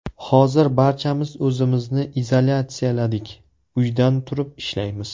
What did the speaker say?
Hozir barchamiz o‘zimizni izolyatsiyaladik, uydan turib ishlaymiz.